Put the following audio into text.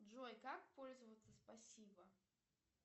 джой как пользоваться спасибо